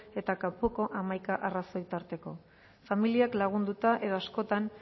eta kanpoko hamaika arrazoi tarteko familiak lagunduta edo askotan